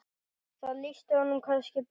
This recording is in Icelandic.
Það lýsti honum kannski best.